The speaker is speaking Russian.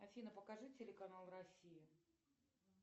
афина покажи телеканал россия